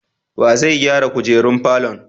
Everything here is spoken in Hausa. Wa zai gyara kujerar falon?